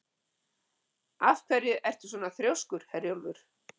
Af hverju ertu svona þrjóskur, Herjólfur?